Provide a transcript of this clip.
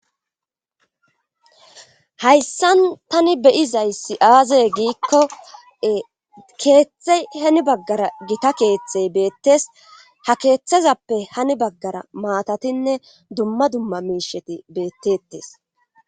hayssan tani beyizay siaaze giikko keeththey hani baggara gita keeththey beettees ha keeththezappe hani baggara maatatinne dumma dumma miisheti beettetees